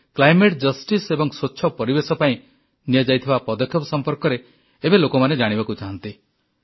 ଆମ ଭାରତରେ climate justice ଏବଂ ସ୍ୱଚ୍ଛ ପରିବେଶ ପାଇଁ ନିଆଯାଇଥିବା ପଦକ୍ଷେପ ସମ୍ପର୍କରେ ଏବେ ଲୋକମାନେ ଜାଣିବାକୁ ଚାହାନ୍ତି